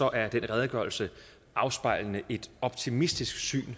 at redegørelsen afspejler et optimistisk syn